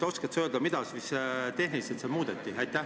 Oskad sa öelda, mida siin tehniliselt muudeti?